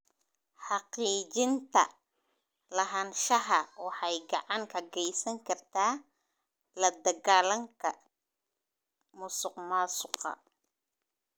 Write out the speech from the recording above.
Xaqiijinta lahaanshaha waxay gacan ka geysan kartaa la dagaallanka musuqmaasuqa.